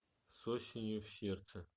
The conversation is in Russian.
с осенью в сердце